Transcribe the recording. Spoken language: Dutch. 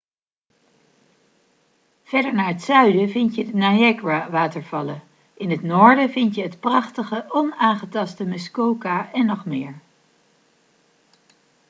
verder naar het zuiden vind je de niagara watervallen in het noorden vind je het prachtige onaangetaste muskoka en nog meer